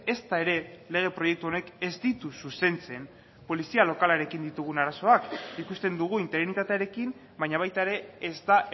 ezta ere lege proiektu honek ez ditu zuzentzen polizia lokalarekin ditugun arazoak ikusten dugu interinitatearekin baina baita ere ez da